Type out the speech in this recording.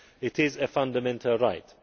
It is a fundamental right.